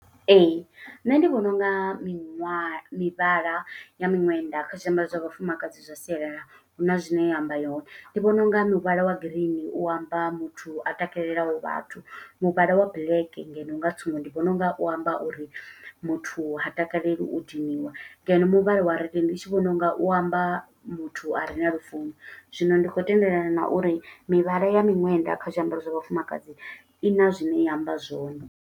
Ee, nṋe ndi vhona unga miṅwaha mivhala ya miṅwenda kha zwiambaro zwa vhafumakadzi zwa sialala, huna zwine ya amba yone. Ndi vhona unga muvhala wa green u amba muthu a takalelaho vhathu. Muvhala wa black ngeno nga tsumbo, ndi vhona u nga u amba uri muthu ha takaleli u diniwa, ngeno muvhala wa red ndi tshi vhona u nga u amba muthu, a re na lufuno. Zwino ndi khou tendelana na uri mivhala ya miṅwenda kha zwiambaro zwa vhafumakadzi i na zwine ya amba zwone.